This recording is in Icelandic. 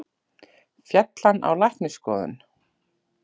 Féll hann á læknisskoðun?